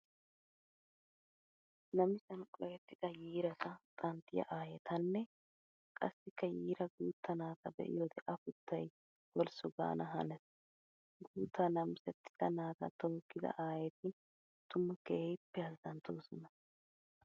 Namissan qohettidda yiiratta xanttiya aayettanne qassikka yiira guuta naata be'iyoode afuttay holssu gaana hanees. Guuta namisettidda naata tookkidda aayetti tuma keehippe azanttosonna.